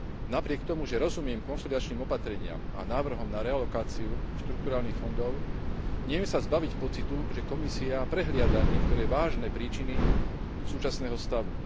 Napriek tomu, že rozumiem konsolidačným opatreniam a návrhom na realokáciu štrukturálnych fondov, neviem sa zbaviť pocitu, že Komisia prehliada niektoré vážne príčiny súčasného stavu.